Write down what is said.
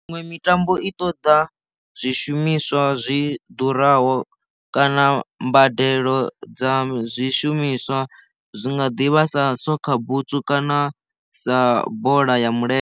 Miṅwe mitambo i ṱoḓa zwishumiswa zwi ḓuraho kana mbadelo dza zwishumiswa zwi nga ḓivha sa sokha butswu kana sa bola ya milenzhe.